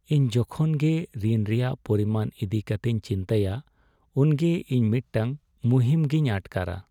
ᱤᱧ ᱡᱚᱠᱷᱚᱱᱜᱮ ᱨᱤᱱ ᱨᱮᱭᱟᱜ ᱯᱚᱨᱤᱢᱟᱱ ᱤᱫᱤ ᱠᱟᱛᱮᱧ ᱪᱤᱱᱛᱟᱹᱭᱟ ᱩᱱᱜᱮ ᱤᱧ ᱢᱤᱫᱴᱟᱝ ᱢᱩᱦᱤᱢ ᱜᱮᱧ ᱟᱴᱠᱟᱨᱟ